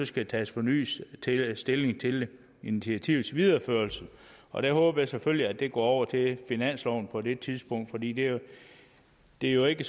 skal tages fornyet stilling til initiativets videreførelse og der håber jeg selvfølgelig at det går over til finansloven på det tidspunkt fordi det jo det jo ikke